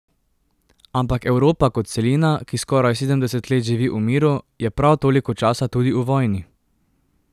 Ampak Evropa kot celina, ki skoraj sedemdeset let živi v miru, je prav toliko časa tudi v vojni.